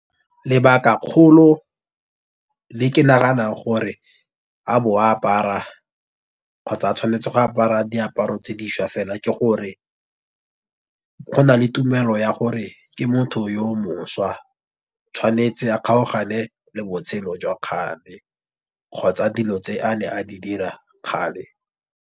Lebaka kgolo le ke naganang gore a bo apara kgotsa a tshwanetse go apara diaparo tse dišwa fela ke gore, go na le tumelo ya gore ke motho yo mošwa. Tshwanetse a kgaogane le botshelo jwa kgale kgotsa dilo tse a ne a di dira kgale.